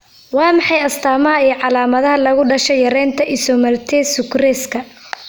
Waa maxay astamaha iyo calaamadaha lagu dhasho yaraanta isomaltase sucraska?